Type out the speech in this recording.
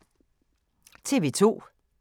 TV 2